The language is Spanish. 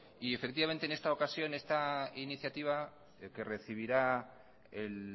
en esta ocasión esta iniciativa que recibirá el